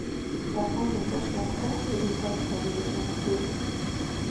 thaka nyĩmbo cĩakwaĩrĩa itathikagiririo makĩrĩa